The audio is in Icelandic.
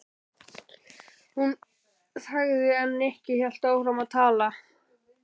Hún þagði en Nikki hélt áfram að tala.